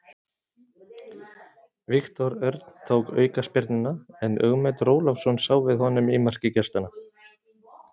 Viktor Örn tók aukaspyrnuna en Ögmundur Ólafsson sá við honum í marki gestanna.